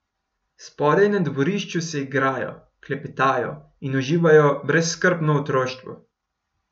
Spodaj na dvorišču se igrajo, klepetajo in uživajo brezskrbno otroštvo.